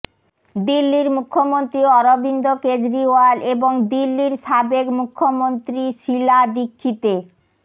দিল্লির মুখ্যমন্ত্রী অরবিন্দ কেজরিওয়াল এবং দিল্লির সাবেক মুখ্যমন্ত্রী শীলা দীক্ষিতে